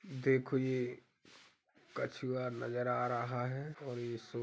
देखो यह कछुआ नजर आ रहा है और यह सो --